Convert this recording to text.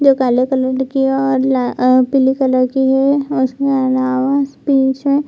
जो काले कलर की और अ पीले कलर की है उसमे अनावश पीछे --